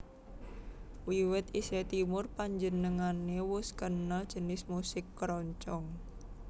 Wiwit isih timur panjenengané wus kenal jinis musik keroncong